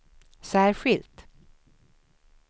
särskilt